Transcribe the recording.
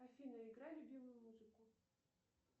афина играй любимую музыку